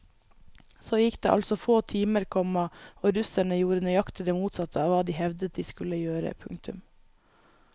Så gikk det altså få timer, komma og russerne gjorde nøyaktig det motsatte av hva de hevdet de skulle gjøre. punktum